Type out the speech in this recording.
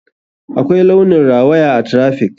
Akwai launin rawaya a traffic.